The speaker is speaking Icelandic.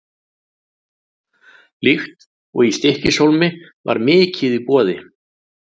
Líkt og í Stykkishólmi var mikið í boði.